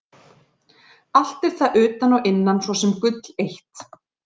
Allt er það utan og innan svo sem gull eitt.